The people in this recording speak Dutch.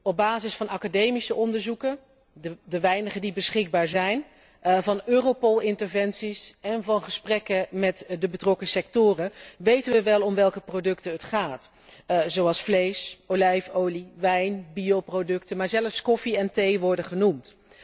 Op basis van academische onderzoeken de weinige die beschikbaar zijn van Europol interventies en van gesprekken met de betrokken sectoren, weten we wel om welke producten het gaat, zoals vlees, olijfolie, wijn, bioproducten, maar zelfs koffie en thee worden genoemd.